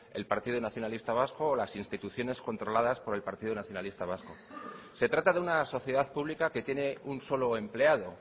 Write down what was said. el partido nacionalista vasco o las instituciones controladas por el partido nacionalista vasco se trata de una sociedad pública que tiene un solo empleado